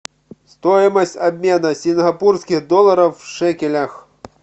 стоимость обмена сингапурских долларов в шекелях